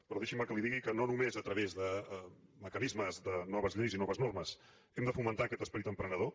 però deixi’m que li digui que no només a través de mecanismes de noves lleis i noves normes hem de fomentar aquest esperit emprenedor